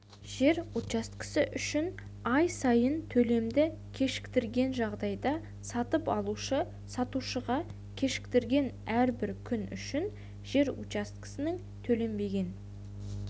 жер учаскесі үшін ай сайынғы төлемді кешіктірген жағдайда сатып алушы сатушыға кешіктірген әрбір күн үшін жер учаскесінің төленбеген